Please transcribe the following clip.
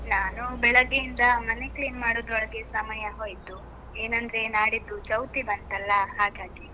ನಾನು ಬೆಳಗ್ಗೆಯಿಂದ ಮನೆ clean ಮಾಡೋದ್ರೊಳಗೆ ಸಮಯ ಹೋಯ್ತು, ಏನಂದ್ರೆ ನಾಡಿದ್ದು ಚೌತಿ ಬಂತಲ್ಲ, ಹಾಗಾಗಿ.